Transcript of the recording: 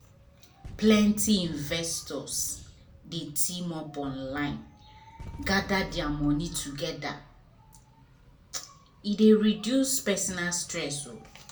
plenty investors dey team up online gather their money together e dey reduce personal risk.